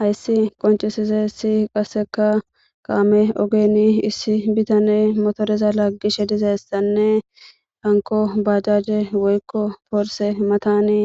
Hayssi qoncisize si qaseka kaame ogeni issi bitane motodeza laaggishe dizeessanne anko bajaje woykko porse matani